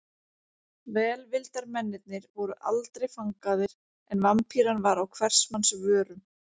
Velvildarmennirnir voru aldrei fangaðir en Vampíran var á hvers manns vörum.